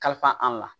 Kalifa an la